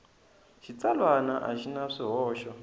xitsalwana a xi na swihoxo